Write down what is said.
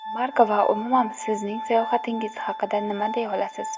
Mark va umuman sizning sayohatingiz haqida nima deya olasiz?